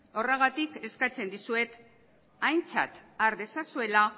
horregatik eskatzen dizuet aintzat har dezazuela